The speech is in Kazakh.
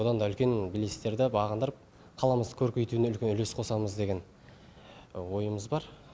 бұдан да үлкен белестерді бағындырып қаламызды көркейтуіне үлкен үлес қосамыз деген ойымыз бар